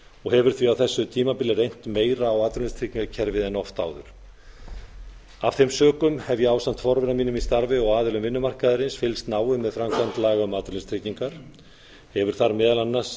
og hefur því á þessu tímabili reynt meira á atvinnuleysistryggingakerfið en oft áður af þeim sökum hef ég ásamt forvera mínum í starfi og aðilum vinnumarkaðarins fylgst náið með framkvæmd laga um atvinnuleysistryggingar hefur það meðal annars